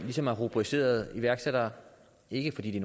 ligesom har rubriceret iværksættere ikke fordi de